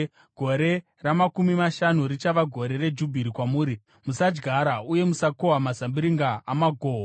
Gore ramakumi mashanu richava gore reJubhiri kwamuri. Musadyara uye musakohwa mazambiringa amagoko.